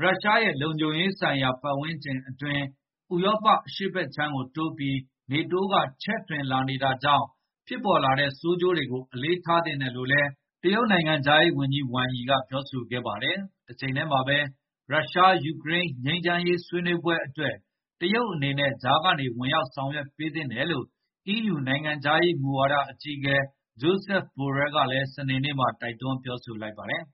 ရုရှားရဲ့ လုံခြုံရေးဆိုင်ရာ ပတ်ဝန်းကျင်အတွင်း ဥရောပအရှေ့ဘက်ကိုတိုးပြီး NATO က ချဲ့ထွင်နေတာကြောင့် ဖြစ်ပေါ်လာတဲ့ ဆိုးကျိုးတွေကို အလေးထားသင့်တယ်လို့လည်း တရုတ်နိုင်ငံခြားရေးဝန်ကြီး Wang Yi က ပြောဆိုခဲ့ပါတယ်။ တချိန်တည်းမှာပဲ ရုရှား-ယူကရိန်း ငြိမ်းချမ်းရေးဆွေးနွေးဖို့ တရုတ်အနေနဲ့ ကြားက ဝင်ရောက်ဆောင်ရွက်ပေးသင့်တယ်လို့ အီးယူ နိုင်ငံခြားရေးရာမူဝါဒ အကြီးအကဲ Joseph Borrell ကလည်း စနေနေ့မှာ တိုက်တွန်း ပြောဆိုလိုက်ပါတယ်။